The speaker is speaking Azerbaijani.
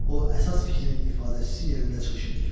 O əsas fikrin ifadəçisi yerində çıxış edir.